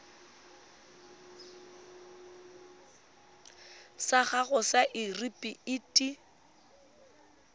sa gago sa irp it